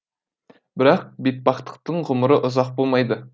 бірақ бетпақтықтың ғұмыры ұзақ болмайды